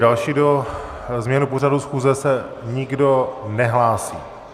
Další se změnou pořadu schůze se nikdo nehlásí.